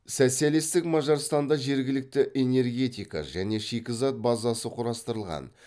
социалисттік мажарстанда жергілікті энергетика және шикізат базасы құрастырылған